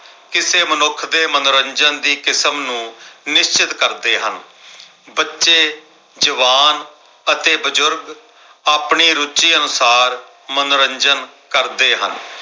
ਕਿਸੇ ਮਨੁੱਖ ਦੇ ਮਨੋਰੰਜਨ ਦੀ ਕਿਸਮ ਨੂੰ ਨਿਸ਼ਚਤ ਕਰ ਦੇ ਹਾਂ ।ਬੱਚੇ, ਜਵਾਨ ਅਤੇ ਬਜ਼ੁਰਗ ਆਪਣੀ ਰੁਚੀ ਅਨੁਸਾਰ ਮਨੋਰੰਜਨ ਕਰਦੇ ਹਨ।